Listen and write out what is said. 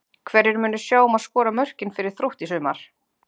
Hverjir munu sjá um að skora mörkin fyrir Þrótt í sumar?